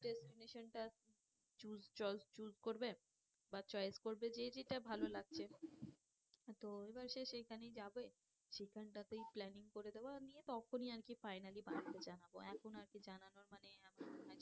Destination টা choose করবে বা choice করবে যে যেটা ভালো লাগছে তো এবার সে সেইখানেই যাবে। সেখানটাতেই planning করে দেওয়া নিয়ে তখনি আর কি finally বাড়িতে জানাবো এখন আর কি জানানোর মানে আমি